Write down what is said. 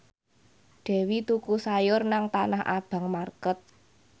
Dewi tuku sayur nang Tanah Abang market